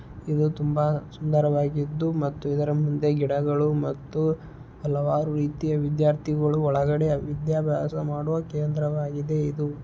ಇದು ತುಂಬಾ ಸುಂದರವಾದ್ದು ಮತ್ತುಇದರ ಮುಂದೆ ಗಿಡಗಳು ಮತ್ತು ಹಲವಾರು ರೀತಿಯ ವಿದ್ಯಾರ್ಥಿಗಳು ಒಳಗಡೆ ವಿದ್ಯಾಭ್ಯಾಸ ಮಾಡುವ ಕೇಂದ್ರವಾಗಿದೆ ಇದು.